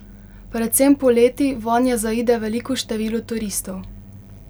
Predvsem poleti vanje zaide veliko število turistov.